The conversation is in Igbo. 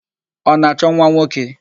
Ọ na-achọ nwanwoke?